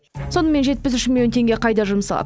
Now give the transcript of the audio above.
сонымен жетпіс үш миллион теңге қайда жұмсалады